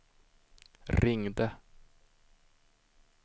ringde